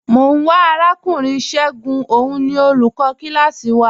Mọ n wá Arakùnrin Ṣẹ̀gún, ọ̀un ni olúkò kílásí wà.